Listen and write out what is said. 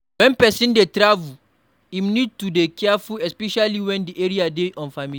When person dey travel, im need to dey careful especially when di area dey unfamiliar